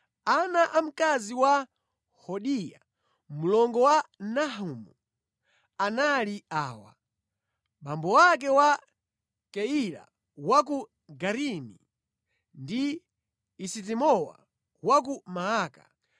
Ana a mkazi wa Hodiya, mlongo wa Nahamu anali awa: abambo ake a Keila wa ku Garimi ndi Esitemowa wa ku Maaka.